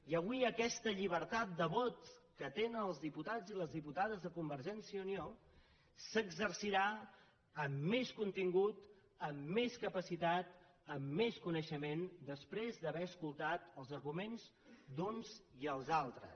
i avui aquesta llibertat de vot que tenen els diputats i les diputades de convergència i unió s’exercirà amb més contingut amb més capacitat amb més coneixement després d’haver escoltat els arguments d’uns i els altres